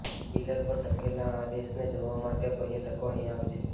pillar પર ટકેલા આ દેશને જોવા માટે પર્યટકો અહીં આવે છે